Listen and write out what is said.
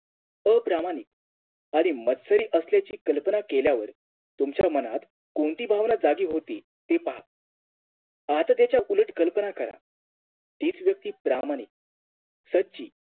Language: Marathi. अप्रामाणिक आणि मत्सरी असल्याची कल्पना केल्यावर तुमच्या मनात कोणती भावना जागी होते ती पहा आता त्याच्या उलट कल्पना करा तीच व्यक्ती प्रामाणिक सच्ची